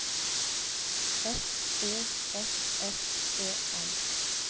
F O S S E N